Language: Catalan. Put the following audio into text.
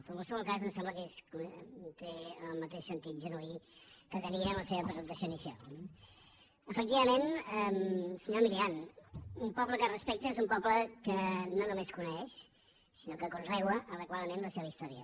però en qualsevol cas ens sembla que té el mateix sentit genuí que tenia en la seva presentació inicial no efectivament senyor milián un poble que es respecta és un poble que no només coneix sinó que conrea adequadament la seva història